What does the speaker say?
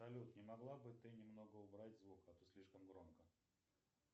салют не могла бы ты немного убрать звук а то слишком громко